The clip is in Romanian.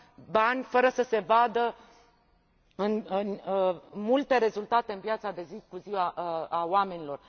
bani fără să se vadă multe rezultate în viața de zi cu zi a oamenilor.